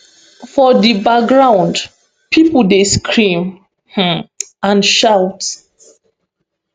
for di background pipo dey scream um and shout